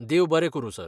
देव बरें करूं, सर.